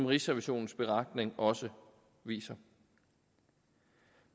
rigsrevisionens beretning også viser